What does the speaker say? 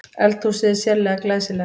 Eldhúsið er sérlega glæsilegt